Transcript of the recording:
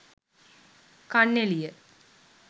kanneliya